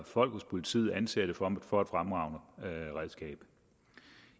folk hos politiet anser det for for et fremragende redskab